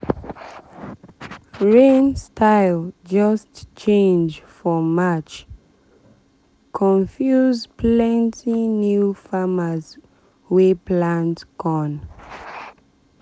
rain style just change for march confuse confuse plenty new farmers wey plant corn.